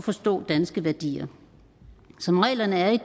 forstå danske værdier som reglerne er i